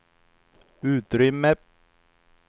utrymme